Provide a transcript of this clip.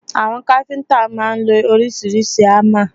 Àwọn káfíntà máà ń lo oríṣiríṣi hámà.